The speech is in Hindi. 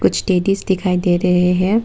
कुछ टेडिज दिखाई दे रहे हैं।